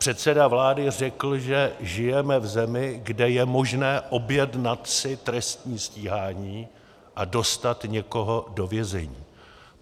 Předseda vlády řekl, že žijeme v zemi, kde je možné objednat si trestní stíhání a dostat někoho do vězení.